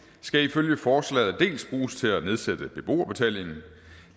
skal ifølge forslaget dels bruges til at nedsætte beboerbetalingen